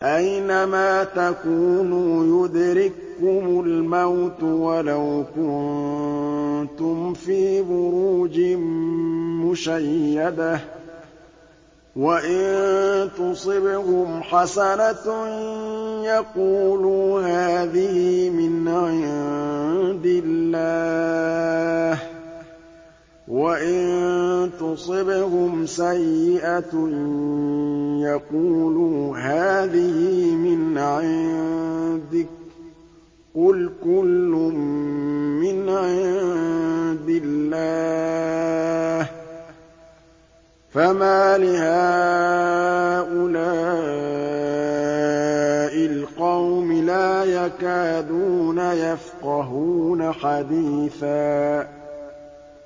أَيْنَمَا تَكُونُوا يُدْرِككُّمُ الْمَوْتُ وَلَوْ كُنتُمْ فِي بُرُوجٍ مُّشَيَّدَةٍ ۗ وَإِن تُصِبْهُمْ حَسَنَةٌ يَقُولُوا هَٰذِهِ مِنْ عِندِ اللَّهِ ۖ وَإِن تُصِبْهُمْ سَيِّئَةٌ يَقُولُوا هَٰذِهِ مِنْ عِندِكَ ۚ قُلْ كُلٌّ مِّنْ عِندِ اللَّهِ ۖ فَمَالِ هَٰؤُلَاءِ الْقَوْمِ لَا يَكَادُونَ يَفْقَهُونَ حَدِيثًا